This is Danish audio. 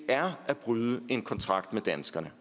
er at bryde en kontrakt med danskerne